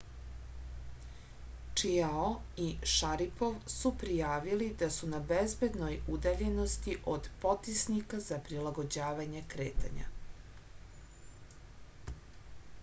čiao i šaripov su prijavili da su na bezbednoj udaljenosti od potisnika za prilagođavanje kretanja